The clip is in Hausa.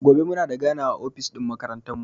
Gobe muna da ganawa a ofis ɗin makarantan mu.